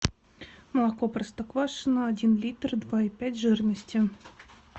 молоко простоквашино один литр два и пять жирности